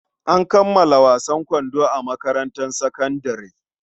An kammala wasan kwando a makarantar sakandare.